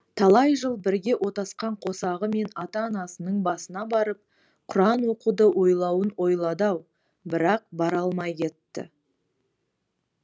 талай жыл бірге отасқан қосағы мен ата анасының басына барып құран оқуды ойлауын ойлады ау бірақ бара алмай кетті